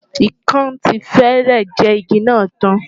Ikán ti fẹ́rẹ̀ jẹ igi náà tán.